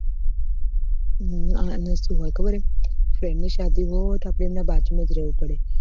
હમ આમાં શું હોય ખબર હૈ friend ની શાદી હોય તો આપડે એના બાજુ માં જ રેવું પડે